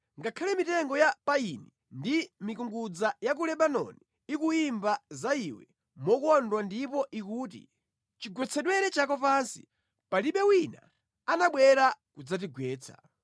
Ngakhale mitengo ya payini ndi mikungudza ya ku Lebanoni ikuyimba za iwe mokondwa ndipo ikuti, “Chigwetsedwere chako pansi, palibe wina anabwera kudzatigwetsa.”